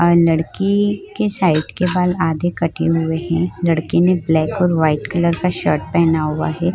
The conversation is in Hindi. आ लड़की के साइड के बाल आधे कटे हुए हैं। लड़की ने ब्लैक और वाइट कलर का शर्ट पहना हुआ है।